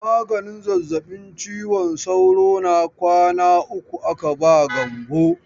Maganin zazzabin ciwon sauro na kwana uku aka ba Gambo.